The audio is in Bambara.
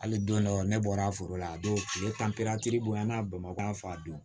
Hali don dɔ ne bɔra foro la a don tile tan bonyana bamakɔ fa don